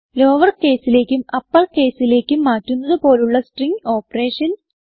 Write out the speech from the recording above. lower caseലേക്കും upper caseലേക്കും മാറ്റുന്നത് പോലുള്ള സ്ട്രിംഗ് ഓപ്പറേഷൻസ്